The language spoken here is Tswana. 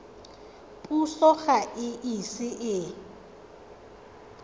puso ga e ise e